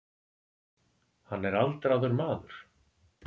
Hann er aldraður maður.